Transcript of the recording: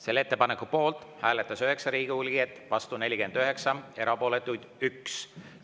Selle ettepaneku poolt hääletas 9 Riigikogu liiget, vastu 49, erapooletuid 1.